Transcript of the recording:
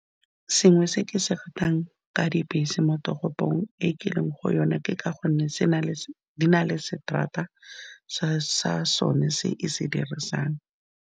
Sengwe se ke se ratang ka dibese mo toropong e ke leng go yona, ke ka gonne se na le, di na le seterata sa sone se e se dirisang.